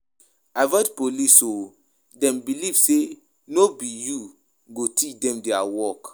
Avoid police um dem believe sey no be you go teach dem their work.